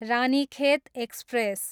Ranikhet express